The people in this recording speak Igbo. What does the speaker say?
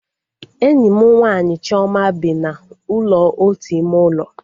Enyi m nwaanyị Chioma bi na ụlọ otu ime ụlọ